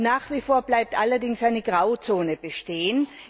Nach wie vor bleibt allerdings eine Grauzone bestehen.